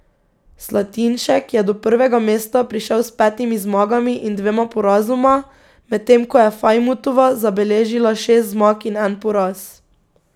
Slatinšek je do prvega mesta prišel s petimi zmagami in dvema porazoma, medtem ko je Fajmutova zabeležila šest zmag in en poraz.